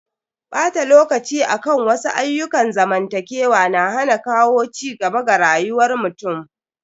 Bata lokaci akan wasu ayyukan zamantakewa na hana kawo cigaba ga rayuwar mutum.